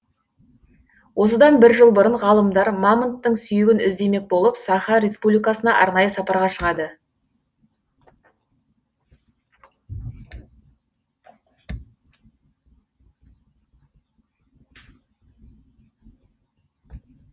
осыдан бір жыл бұрын ғалымдар мамонттың сүйегін іздемек болып саха республикасына арнайы сапарға шығады